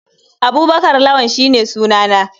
Abubakar lawann shine sunansa.